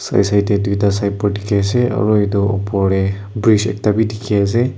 side side deh duita sight board dikhi ase aro edu opor dey bridge ekta bhi dikhi ase.